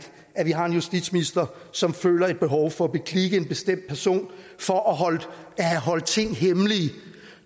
at vi har en justitsminister som føler et behov for at beklikke en bestemt person for at have holdt ting hemmelige